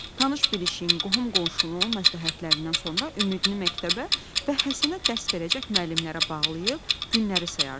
Tanış-bilişin, qohum-qonşunun məsləhətlərindən sonra ümidini məktəbə və Həsənə dərs verəcək müəllimlərə bağlıyıb günləri sayırdı.